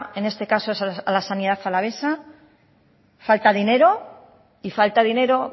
en este caso es a la sanidad alavesa falta dinero